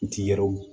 N ti yɔrɔ